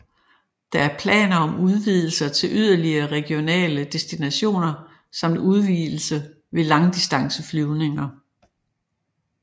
Der er planer om udvidelser til yderligere regionale destinationer samt udvidelse med langdistanceflyvninger